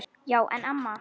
Já en amma.